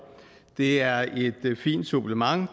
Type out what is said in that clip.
det er et fint supplement